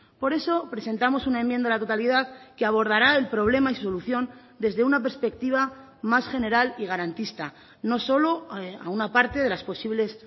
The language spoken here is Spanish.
por eso presentamos una enmienda a la totalidad que abordará el problema y solución desde una perspectiva más general y garantista no solo a una parte de las posibles